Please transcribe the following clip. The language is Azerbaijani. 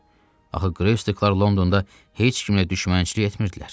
Axı Greystoklar Londonda heç kimlə düşmənçilik etmirdilər.